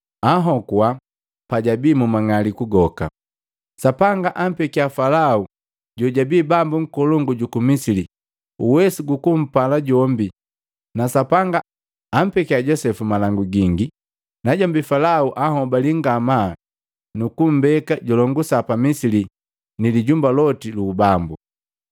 anhokua pajabii mu mang'aliku goka. Sapanga ampekya Falao jojabii bambo nkolongu juku Misili uwesu gukumpala jombi na Sapanga ampekia Josepu malangu gingi na jombi Falao, anhobalii ngamaa nukumbeka julongusa pa Misili ni lijumba loti lu ubambu.